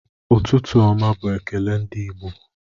Ụtụtụ ọma bu ekele ndi Igbo